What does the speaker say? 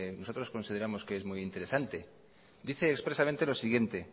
nosotros consideramos que es muy interesante dice expresamente lo siguiente